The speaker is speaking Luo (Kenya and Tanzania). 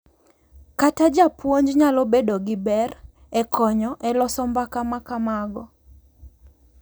Kata japuonj nyalo bedo gi ber e konyo e loso mbaka ma kamago.